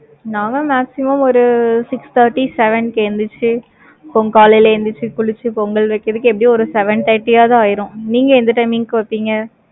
நானும் maximum ஒரு six thirty seven கேந்திருச்சு, காலையில எந்திரிச்சு குளிச்சு, பொங்கல் வைக்கிறதுக்கு, எப்படியும் ஒரு seven thirty ஆதான் ஆயிரும். நீங்க எந்த timing க்கு வைப்பீங்க?